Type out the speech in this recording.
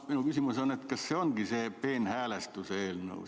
Mu küsimus on, et kas see ongi see peenhäälestuse eelnõu.